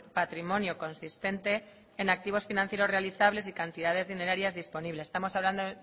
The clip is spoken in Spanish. patrimonio consistente en activos financieros realizables y cantidades dinerarias disponibles estamos hablando